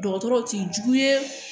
Dɔgɔtɔrɔw k'i jugu ye